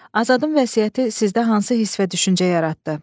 Azadın vəsiyyəti sizdə hansı hiss və düşüncə yaratdı?